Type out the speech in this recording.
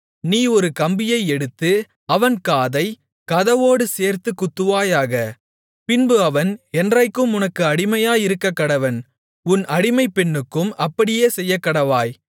நீ ஒரு கம்பியை எடுத்து அவன் காதைக் கதவோடே சேர்த்துக் குத்துவாயாக பின்பு அவன் என்றைக்கும் உனக்கு அடிமையாயிருக்கக்கடவன் உன் அடிமைப்பெண்ணுக்கும் அப்படியே செய்யக்கடவாய்